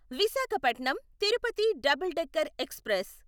Visakhapatnam Tirupati double decker express